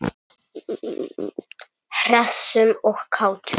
Hressum og kátum.